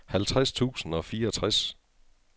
halvtreds tusind og fireogtres